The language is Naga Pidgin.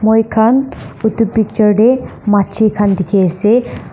moikhan etu picture de majli kan dikhi ase.